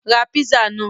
Ra písà náà!